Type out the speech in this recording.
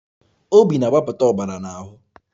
Obi na-agbapụta ọbara n'ahụ